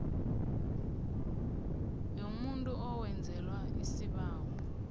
yomuntu owenzelwa isibawo